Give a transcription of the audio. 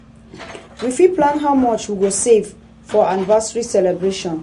we fit plan how much we go save for our anniversary celebration.